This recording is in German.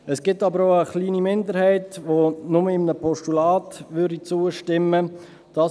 Es gibt aber auch eine kleine Minderheit, welche nur einem Postulat zustimmen würde.